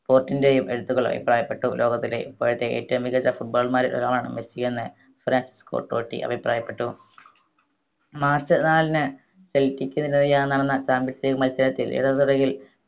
ഡിപ്പോർട്ടിൻറെയും എഴുത്തുകൾ അഭിപ്രായപ്പെട്ടു ലോകത്തിലെ ഇപ്പോഴത്തെ ഏറ്റവും മികച്ച football മാരിൽ ഒരാളാണ് മെസ്സി എന്ന് ഫ്രാൻസ് കൊട്ടോട്ടി അഭിപ്രായപ്പെട്ടു മാർച്ച് നാലിന് പെൽകിച്ചിന് എതിരായി നടന്ന champions league മത്സരത്തിൽ ഇടത് തുടയിൽ